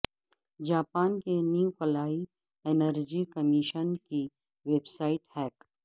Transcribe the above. Japan کے نیوکلیائی energy commission کی ویب سائٹ ہیک